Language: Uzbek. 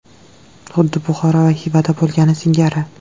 Xuddi Buxoro va Xivada bo‘lgani singari.